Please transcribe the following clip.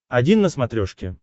один на смотрешке